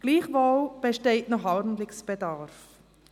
Gleichwohl besteht noch Handlungsbedarf.